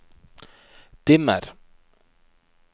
dimmer